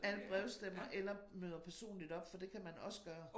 Alle brevstemmer eller møder personligt op for det kan man også gøre